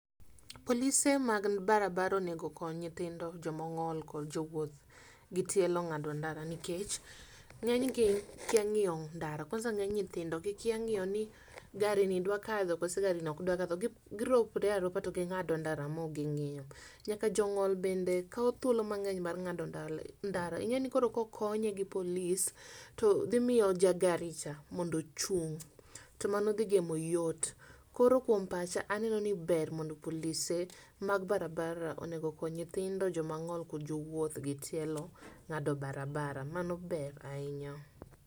polise mag barabara onego okony nyithindo, jomong'ol kod jowuoth gi tielo ng'ado ndara nikech ng'eny gi kia ng'iyo ndara. cs] Kwanza ng'eny nyithindo gi kia ng'iyo ni gari ni dwa kadho koso gari ni ok dwa kadho, girokre aroka to ging'ado ndaya ndara mo ging'iyo. Nyaka jong'iol bende kawo thuolo mang'eny mar ng'ado ndara ing'eni koro kokonye gi polis to dhi miyo ja gari cha mondo ochung' to mano dhi kelo yot. Koro kuom pacha aneno ni ber mondo polise mag barabara onego okony nyithindo, jomong'ol kod jowuoth gi tielo ng'ado barabara, mano ber ahinya.